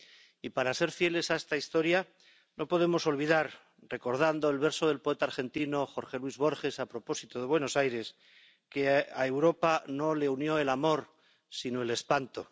Y para ser fieles a esta historia no podemos olvidar —recordando el verso del poeta argentino Jorge Luis Borges a propósito de Buenos Aires— que a Europa no le unió el amor, sino el espanto.